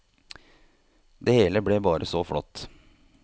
Det hele ble bare så flott.